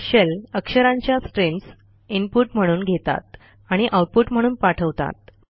shell अक्षरांच्या streams input म्हणून घेतात आणि आउटपुट म्हणून पाठवतात